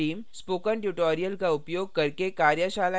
spoken tutorials का उपयोग करके कार्यशालाएँ भी चलाती है